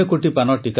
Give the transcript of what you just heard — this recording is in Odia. କୋଟି କୋଟି ନମସ୍କାର